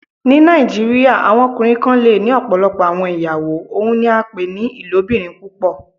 Ní Nàìjíríà, awọn ọkùnrin kàn lẹ́ ní ọ̀pọ̀lọpọ̀ awọn ìyàwó, ọ́un ní à pẹ ni "ilòbìrín púpọ̀."